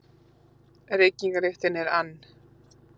Reykingalyktin er ann